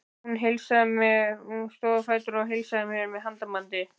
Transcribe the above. Hún stóð á fætur og heilsaði mér með handabandi.